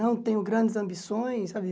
Não tenho grandes ambições, sabe?